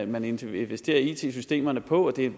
man investerer i it systemerne på og det er